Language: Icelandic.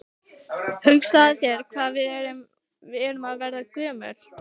Hugsaðu þér hvað við erum að verða gömul.